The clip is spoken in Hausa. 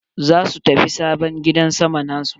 Za su tafi sabon gidan sama na su.